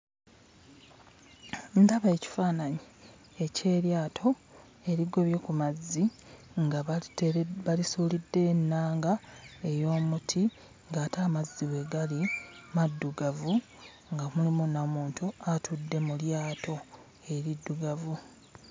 Ndaba ekifaananyi eky'eryato erigobye ku mazzi nga baliteere balisuuliddeyo ennanga ey'omuti ng'ate amazzi we gali maddugavu nga mulimu na muntu atudde mu lyato eriddugavu.